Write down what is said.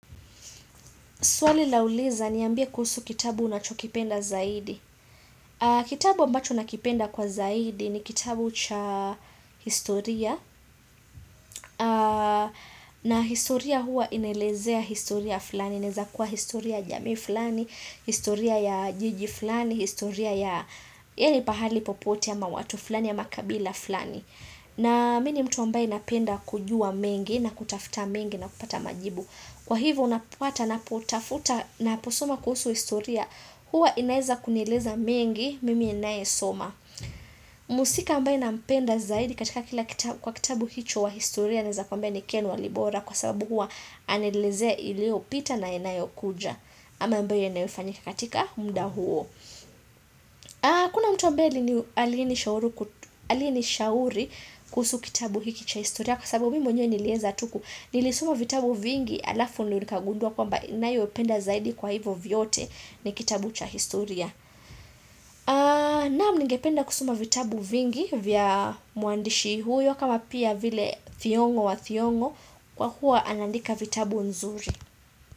Swali lauliza niambie kuhusu kitabu unachokipenda zaidi. Kitabu ambacho nakipenda kwa zaidi ni kitabu cha historia. Na historia hua inaelezea historia fulani. Inaeza kuwa historia jamii fulani, historia ya jiji fulani, historia yani pahali popote ama watu fulani ama kabila fulani. Na mi ni mtu ambaye napenda kujua mengi na kutafuta mengi na kupata majibu. Kwa hivyo unapata napotafuta naposuma kuhusu historia, Huwa inaeza kunileza mengi mimi ninaye soma. Muhusika ambaye nampenda zaidi katika kila kitabu kwa kitabu hicho wa historia Naeza kuambia ni ken walibora kwa sababu huwa anaelezeq ilio pita na yanayokuja ama ambaye yanayofanyika katika muda huo Kuna mtu ambaye aliyenishauri kuhusu kitabu hiki cha historia Kwa sababu mimi mwenyewe nilieza tu ku Nilisoma vitabu vingi halafu nilikagundua kwamba ninayopenda zaidi kwa hivyo vyote ni kitabu cha historia Naam ningependa kusoma vitabu vingi vya muandishi huyo kama pia vile thiong'o wa thiong'o kwa huwa anaandika vitabu nzuri.